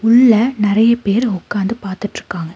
உள்ள நெறைய பேர் உக்காந்து பாத்துட்ருக்காங்க.